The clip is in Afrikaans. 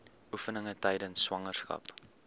oefeninge tydens swangerskap